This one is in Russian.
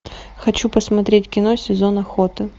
хочу посмотреть кино сезон охоты